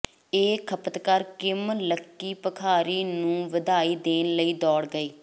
ਇਹ ਖਪਤਕਾਰ Kim lucky ਭਿਖਾਰੀ ਨੂੰ ਵਧਾਈ ਦੇਣ ਲਈ ਦੌੜ ਗਏ